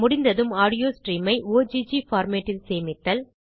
முடிந்ததும் audio stream ஐ Ogg formatஇல் சேமித்தல்